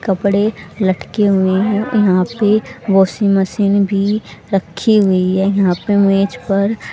कपड़े लटके हुए हैं यहां पे वाशिंग मशीन भी रखी हुई है यहां पे मेज पर--